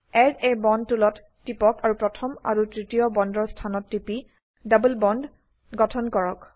add a bond টুলত টিপক আৰু প্ৰথম আৰু তৃতীয় বন্দৰ স্থানত টিপি ডবল বন্দ গঠন কৰক